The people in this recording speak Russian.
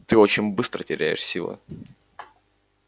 ты очень быстро теряешь силы